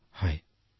ডঃ মদন মণিঃ হয়